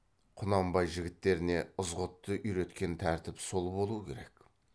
құнанбай жігіттеріне ызғұтты үйреткен тәртіп сол болу керек